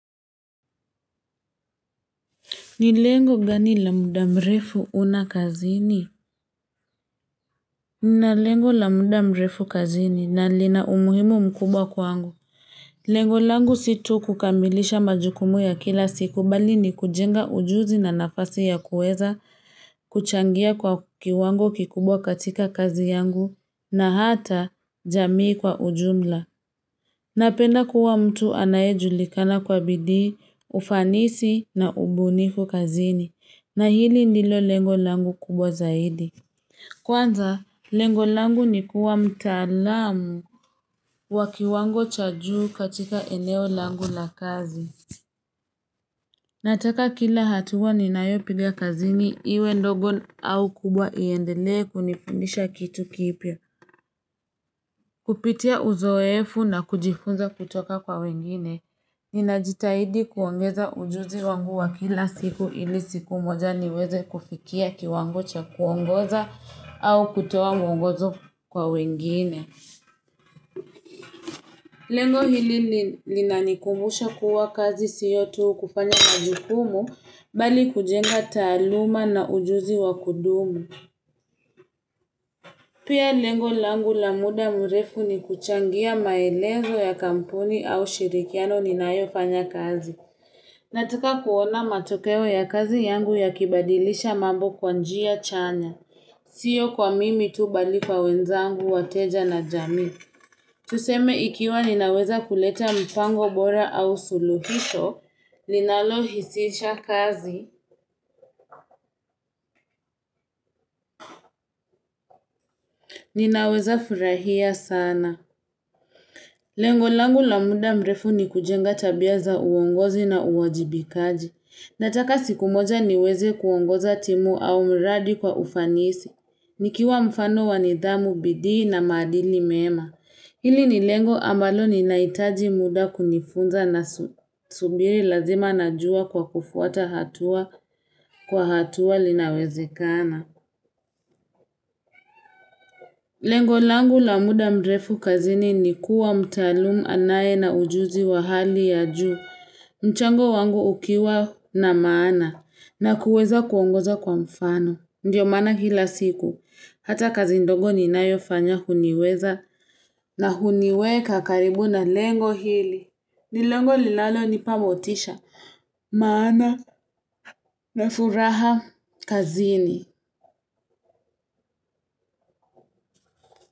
Ni lengo gani la muda mrefu huna kazini? Ni lengo la muda mrefu kazini na lina umuhimu mkubwa kwangu. Lengo langu sito kukamilisha majukumu ya kila siku bali ni kujenga ujuzi na nafasi ya kueza kuchangia kwa kiwango kikubwa katika kazi yangu na hata jamii kwa ujumla. Napenda kuwa mtu anaeju likana kwa bidii, ufanisi na ubunifu kazini. Na hili ndilo lengo langu kubwa zaidi. Kwanza, lengo langu nikua mtalamu wa kiwango chajuu katika eneo langu la kazi. Nataka kila hatua ninaeo piga kazini iwe ndogo au kubwa iendele kunifundisha kitu kipya. Kupitia uzoefu na kujifunza kutoka kwa wengine. Nina jitahidi kuongeza ujuzi wangu wa kila siku ili siku moja niweze kufikia kiwango cha kuongoza au kutoa mwongozo kwa wengine. Lengo hili linanikumbusha kuwa kazi siyo tu kufanya majukumu bali kujenga taluma na ujuzi wa kudumu. Pia lengo langu lamuda murefu ni kuchangia maelezo ya kampuni au shirikiano ni naayo fanya kazi. Nataka kuona matokeo ya kazi yangu ya kibadilisha mambo kwanjia chanya. Siyo kwa mimi tu bali kwa wenzangu wateja na jami. Tuseme ikiwa ninaweza kuleta mpango bora au suluhisho, linalo hisisha kazi, ninaweza furahia sana. Lengo langu la muda mrefu ni kujenga tabia za uongozi na uwajibikaji. Nataka siku moja niweze kuongoza timu au mradi kwa ufanisi. Nikiwa mfano wanidhamu bidii na madili mema. Hili ni lengo amalo ni naitaji muda kunifunza na subiri lazima na jua kwa kufuata hatua kwa hatua linawezekana. Lengo langu la muda mrefu kazini ni kuwa mtalumu anaye na ujuzi wa hali ya juu. Mchango wangu ukiwa na maana na kuweza kuongoza kwa mfano. Ndiyo mana hila siku. Hata kazi ndogo ni nayo fanya huniweza na huniweka karibu na lengo hili. Nilongo lilalo nipamotisha. Maana na furaha kazi ni.